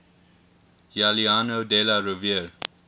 giuliano della rovere